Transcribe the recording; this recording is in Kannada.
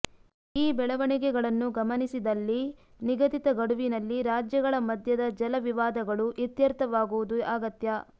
ಈ ಬೆಳವಣಿಗೆಗಳನ್ನು ಗಮನಿಸಿದಲ್ಲಿ ನಿಗದಿತ ಗಡುವಿನಲ್ಲಿ ರಾಜ್ಯಗಳ ಮಧ್ಯದ ಜಲ ವಿವಾದಗಳು ಇತ್ಯರ್ಥವಾಗುವುದು ಅಗತ್ಯ